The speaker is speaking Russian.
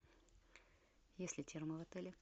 есть ли термо в отеле